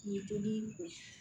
Ni dumuni